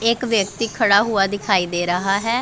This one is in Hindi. एक व्यक्ति खड़ा हुआ दिखाई दे रहा है।